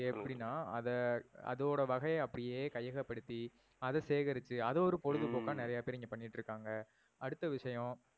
ஹம் அது எப்படின்னா, அத அதோட வகைய அப்படியே கையகபடுத்தி அத சேகரிச்சி அத ஒரு பொழுதுபோக்கா ஹம் நிறையா பேரு இங்க பண்ணிட்டு இருக்காங்க. அடுத்த விஷயம்